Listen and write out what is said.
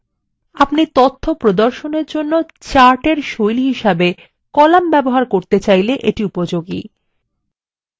আপনারা তথ্য প্রদর্শনের জন্য chartএর style হিসাবে কলাম ব্যবহার করতে চাইলে এটি উপযোগী